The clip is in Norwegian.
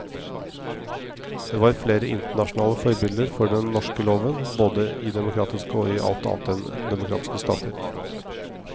Det var flere internasjonale forbilder for den norske loven, både i demokratiske og i alt annet enn demokratiske stater.